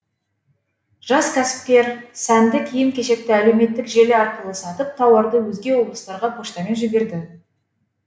жас кәсіпкер сәнді киім кешекті әлеуметтік желі арқылы сатып тауарды өзге облыстарға поштамен жіберді